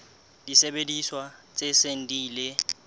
disebediswa tse seng di ile